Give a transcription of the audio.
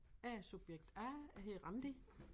Jeg er subjekt A jeg hedder Randi